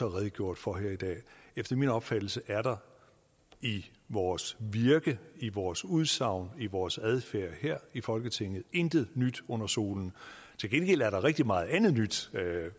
redegjort for her i dag efter min opfattelse er der i vores virke i vores udsagn i vores adfærd her i folketinget intet nyt under solen til gengæld er der rigtig meget andet nyt